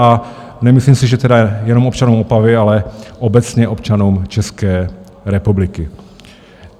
A nemyslím si, že tedy jenom občanům Opavy, ale obecně občanům České republiky.